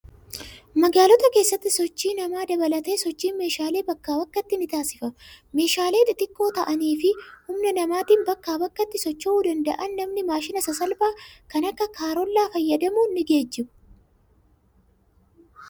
Magaalota keessatti sochii namaa dabalatee sochiin meeshaalee bakkaa bakkatti ni taasifama. Meeshaalee xixiqqoo ta'anii fi humna namaatiin bakkaa bakkatti socho'uu danda'an namni maashina sasalphaa kan akka kaarollaa fayyadamuun ni geejjibu.